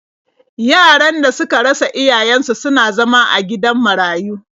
Yaran da suka rasa iyayen su suna zama a gidan marayu.